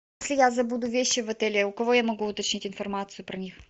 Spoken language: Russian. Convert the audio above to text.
если я забуду вещи в отеле у кого я могу уточнить информацию про них